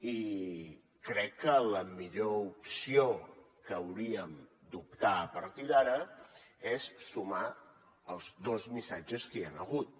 i crec que la millor opció a què hauríem d’optar a partir d’ara és sumar els dos missatges que hi han hagut